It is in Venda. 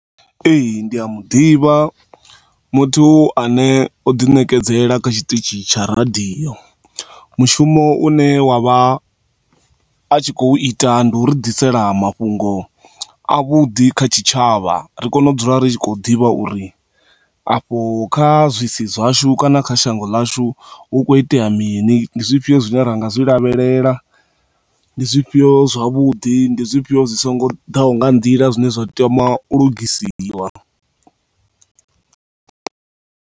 Ee, ndi a muḓivha muthu ane o ḓi ṋekedzela kha tshiṱitshi tsha radio. Mushumo u ne wa vha a tshi khou ita ndi uri ḓisela mafhungo a vhuḓi kha tshitshavha ri kone u dzula ri tshi khou ḓivha uri afho kha zwi si zwashu kana kha shango lashu hu khou itea mini. Ndi zwifhio zwine ri nga zwi lavhelela, ndi zwifhio zwavhudi, ndi zwifhio zwi songo daho nga nḓila, zwine zwa tama u lugisiwa.